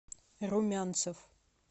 румянцев